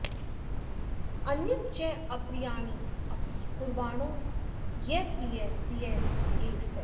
अन्यच्च अप्रियाण्यपि कुर्वाणो यः प्रियः प्रिय एव सः